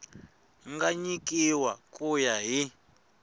nga nyikiwa ku ya hi